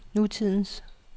nutidens